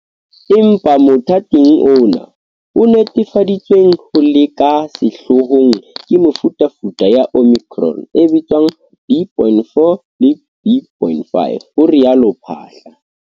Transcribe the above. Empa motha ting ona, ho netefaditsweng ho le ka sehloohong ke mefutafuta ya Omicron e bitswang B point 4 le B point 5, ho rialo Phaahla.